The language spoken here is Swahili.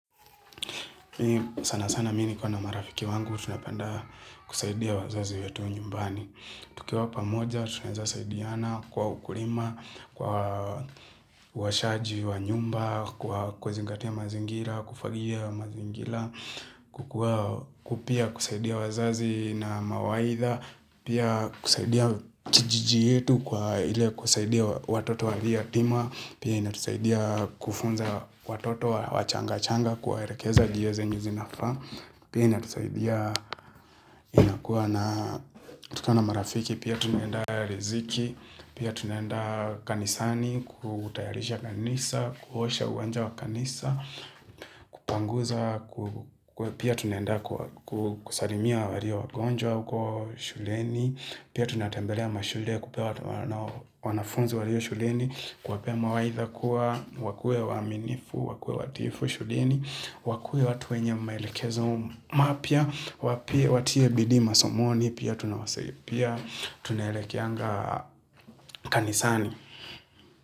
Sana sana mimi nikiwa na marafiki wangu, tunapenda kusaidia wazazi wetu nyumbani tukiwa pamoja, tunaeza saidiana kwa ukulima, kwa uoshaji wa nyumba, kwa kuzingatia mazingira, kufagia mazingira, pia kusaidia wazazi na mawaidha, pia kusaidia kijiji yetu kwa ile kusaidia watoto wa mayatima, Pia inatusaidia kufunza watoto wachanga-changa kuwaelekeza njia zenye zinafaa Pia inatusaidia inakuwa na tukiwa na marafiki pia tunaenda riziki Pia tunaenda kanisani kutayarisha kanisa, kuosha uwanja wa kanisa Kupanguza, pia tunaenda kusalimia walio wagonjwa uko shuleni Pia tunatembelea mashule kupea wanafunzi walio shuleni kuwapea mawaitha kuwa wakue waaminifu, wakue watiifu, shuleni, wakue watu wenye maelekezo mapya, watie bidii masomoni, pia tunawasaidia, tunaelekeanga kanisani.